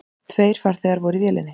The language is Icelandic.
Tveir farþegar voru í vélinni.